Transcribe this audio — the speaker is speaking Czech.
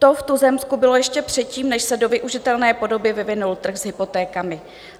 To v tuzemsku bylo ještě předtím, než se do využitelné podoby vyvinul trh s hypotékami.